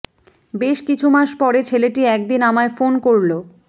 বেশ কিছু মাস পরে ছেলেটি একদিন আমায় ফোন করল